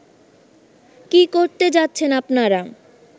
কী করতে যাচ্ছেন আপনারা